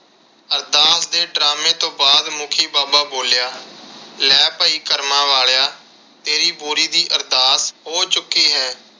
ਅਰਦਾਸ ਦੇ drama ਤੋਂ ਬਾਅਦ ਮੁਖੀ ਬਾਬਾ ਬੋਲਿਆ ਲੈ ਭਾਈ ਕਰਮਾ ਵਾਲਿਆਂ ਤੇਰੀ ਬੋਰੀ ਦੀ ਅਰਦਾਸ ਹੋ ਚੁੱਕੀ ਹੈ।